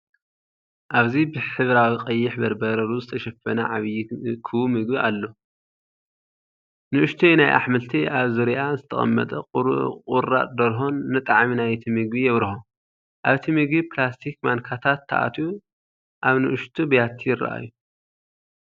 ኣብዚ ብሕብራዊ ቀይሕ በርበረ ሩዝ ዝተሸፈነ ዓቢ ክቡብ ምግቢ ኣሎ፤ ንእሽቶ ናይ ኣሕምልቲ ኣብ ዙርያኣ ዝተቐመጠ ቁራጽ ደርሆን ንጣዕሚ ናይቲ ምግቢ የብርሆ። ኣብቲ መግቢ ፕላስቲክ ማንካታት ተኣትዩ ኣብ ንኣሽቱ ብያቲ ይራኣዩ።